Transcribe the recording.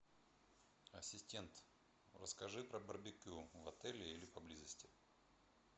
ассистент расскажи про барбекю в отеле или поблизости